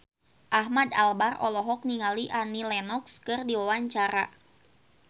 Ahmad Albar olohok ningali Annie Lenox keur diwawancara